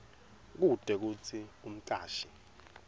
kute kutsi umcashi